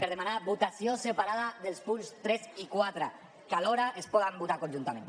per demanar votació separada dels punts tres i quatre que alhora es poden votar conjuntament